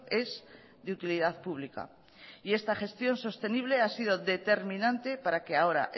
es de utilidad pública y esta gestión sostenible ha sido determinante para que ahora